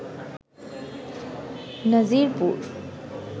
Nazirpur